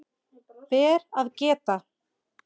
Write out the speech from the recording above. Ber að geta